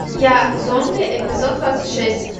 я зомби эпизод двадцать шесть